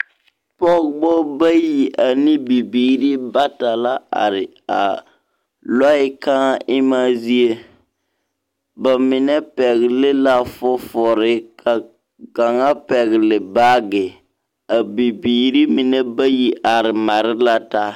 Pɔgbɔ bayi ane bibiiri bata la a are a lɔɛ kãã emaa zie. Ba mine pɛgle fofore ka kaŋa pɛgele baage. A bibiiri mine bayi are mare la taa.